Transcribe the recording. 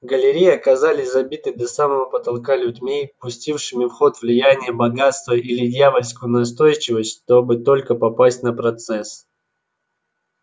галереи оказались забиты до самого потолка людьми пустившими в ход влияние богатство или дьявольскую настойчивость чтобы только попасть на процесс